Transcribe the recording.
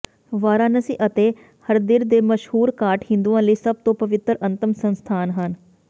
ਵਾਰਾਨਸੀ ਅਤੇ ਹਰਦਿਰ ਦੇ ਮਸ਼ਹੂਰ ਘਾਟ ਹਿੰਦੂਆਂ ਲਈ ਸਭ ਤੋਂ ਪਵਿੱਤਰ ਅੰਤਮ ਸੰਸਥਾਨ ਹਨ